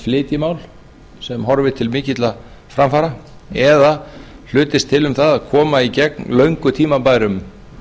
flytji mál sem horfir til mikilla framfara eða hlutist til um það að koma í gegn löngu tímabærum